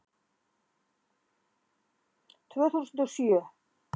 Tvö þúsund og sjö